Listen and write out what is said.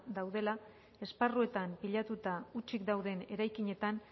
daudela esparruetan pilatuta hutsik dauden eraikinetan